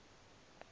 edgar rice burroughs